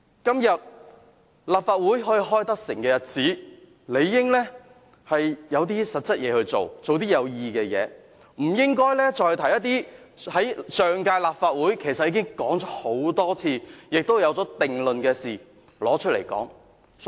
今天立法會成功舉行會議，理應做一些實際的事，做些有意義的事，不應該再提出一些在上屆立法會已多次討論、且已有定論的議題來辯論。